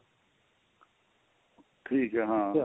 ਠੀਕ ਏ ਆਂ